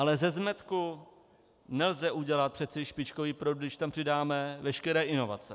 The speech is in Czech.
Ale ze zmetku nelze udělat přece špičkový produkt, když tam přidáme veškeré inovace.